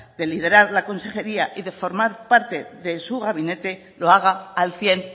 de liderar la consejería y de formar parte de su gabinete lo haga al cien